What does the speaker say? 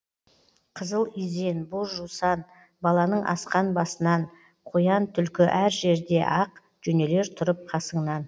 қызыл изен боз жусан баланың асқан басынан қоян түлкі әр жерде ақ жөнелер тұрып қасыңнан